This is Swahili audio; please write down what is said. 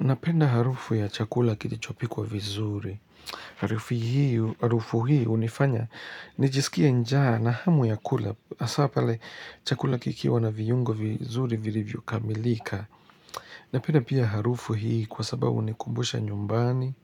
Napenda harufu ya chakula kilichopikwa vizuri. Harufu hii hunifanya nijisikia njaa na hamu ya kula. Hasa pale chakula kikiwa na viungo vizuri vilivyokamilika. Napenda pia harufu hii kwa sababu hunikumbusha nyumbani.